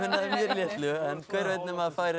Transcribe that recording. litlu en hver veit nema það færi